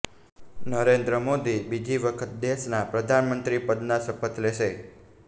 નરેંદ્ર મોદી બીજી વખત દેશના પ્રધાનમંત્રી પદના શપથ લેશે